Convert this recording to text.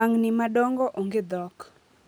lwang'ni madongo onge dhok